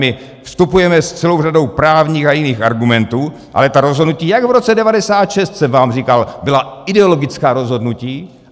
My vstupujeme s celou řadou právních a jiných argumentů, ale ta rozhodnutí, jak v roce 1996 jsem vám říkal, byla ideologická rozhodnutí.